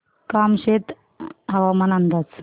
कामशेत हवामान अंदाज